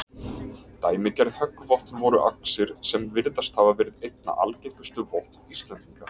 Dæmigerð höggvopn voru axir, sem virðast hafa verið einna algengustu vopn Íslendinga.